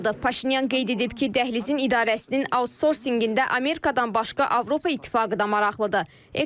Paşinyan qeyd edib ki, dəhlizin idarəsinin autsorsingində Amerikadan başqa Avropa İttifaqı da maraqlıdır.